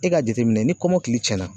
E ka jateminɛ ni kɔmɔkili cɛnna